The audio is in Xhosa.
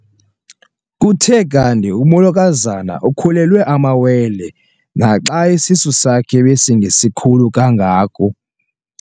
Kuthe kanti umolokazana ukhulelwe amawele naxa isisu sakhe besingesikhulu kangako.